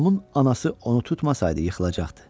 Tomun anası onu tutmasaydı yıxılacaqdı.